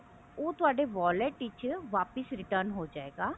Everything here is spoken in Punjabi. ਉਹ ਤੁਹਾਡੇ wallet ਵਿੱਚ ਵਾਪਿਸ return ਹੋਜੇਗਾ